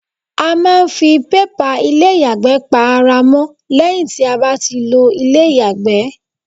A máa ń ń fi pépà ilé ìyàgbẹ́ pa ara mọ́ lẹ́yìn tí a bá ti lo ilé ìyàgbẹ́.